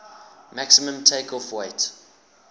maximum takeoff weight